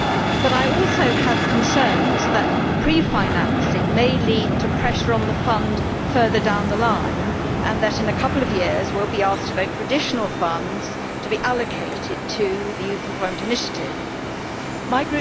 But I also have concerns that pre financing may lead to pressure on the fund further down the line and that in a couple of years we will be asked to vote for additional funds to be allocated to the Youth Employment Initiative My